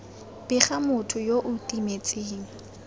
bega motho yo o timetseng